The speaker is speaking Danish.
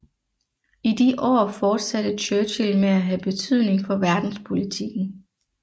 I de år fortsatte Churchill med at have betydning for verdenspolitikken